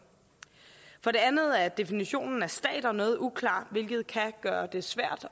for det andet er definitionen af stater noget uklar hvilket kan gøre det svært